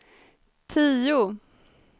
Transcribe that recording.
tio